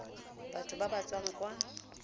batho ba ba tswang kwa